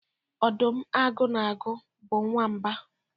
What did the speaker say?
ọdụm, agụ na agụ bụ nwamba